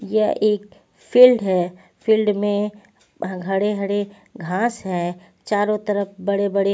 यह एक फील्ड है फील्ड में हड़े-हड़े घास है चारों तरफ बड़े-बड़े--